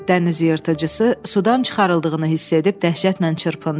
Dəniz yırtıcısı sudan çıxarıldığını hiss edib dəhşətlə çırpındı.